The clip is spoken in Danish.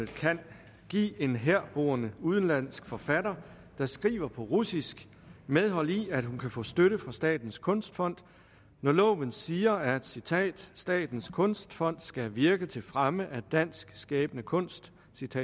kan give en herboende udenlandsk forfatter der skriver på russisk medhold i at hun kan få støtte fra statens kunstfond når loven siger at statens statens kunstfond skal virke til fremme af dansk skabende kunst